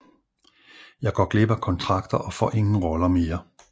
Jeg går glip af kontrakter og får ingen roller mere